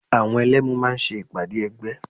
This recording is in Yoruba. Àwọn Ẹlẹ́mu máa ṣe ìpàdé ẹgbẹ́